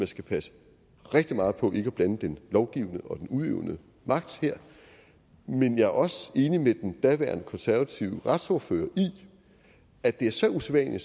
skal passe rigtig meget på ikke at blande den lovgivende og den udøvende magt men jeg er også enig med den daværende konservative retsordfører i at det er så usædvanlig